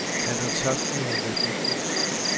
Han har tabt noget værdifuldt.